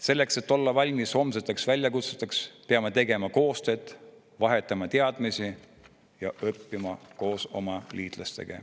Selleks, et olla valmis homseteks väljakutseteks, peame tegema koostööd, vahetama teadmisi ja õppima koos oma liitlastega.